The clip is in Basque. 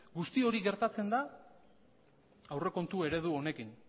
guzti hori gertatzen da aurrekontu eredu honekin